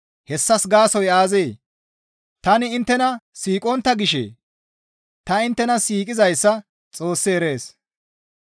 Hessas gaasoykka aazee? Tani inttena siiqontta gishee? Ta inttena siiqizayssa Xoossi erees.